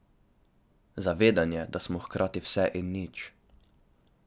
Zavedanje, da smo hkrati vse in nič.